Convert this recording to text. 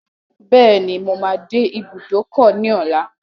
Bẹ́ẹ̀ni, mo máa dé ibùdókọ̀ ní ọlá.